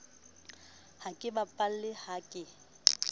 ha ke bapale ha ke